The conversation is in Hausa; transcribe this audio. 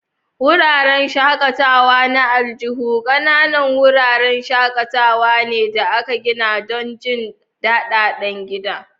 Wuraren shakatawa na aljihu ƙananan wuraren shakatawa ne da aka gina don jin daɗin gida.